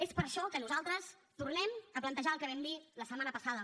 és per això que nosaltres tornem a plantejar el que vam dir la setmana passada